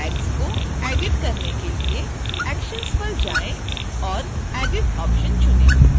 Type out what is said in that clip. tags को edit करने के लिए actions पर जाएँ और edit option चुनें